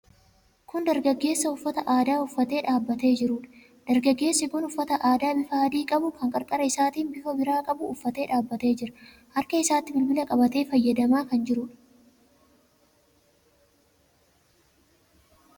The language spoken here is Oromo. Kun dargaggeessa uffata aadaa uffatee dhaabbatee jiruudha. Dargaggeessi kun uffata aadaa bifa adii qabu, kan qarqara isaatiin bifa biraa qabu uffatee dhaabbatee jira. Harka isaatti bilbila qabatee fayyadamaa kan jiruudha.